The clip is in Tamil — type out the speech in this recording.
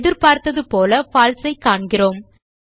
எதிர்ப்பார்த்தது போல பால்சே ஐ காண்கிறோம்